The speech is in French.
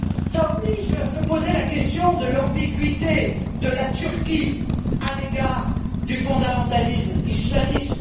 Cela oblige à se poser la question de l'ambiguïté de la Turquie à l'égard du fondamentalisme islamiste.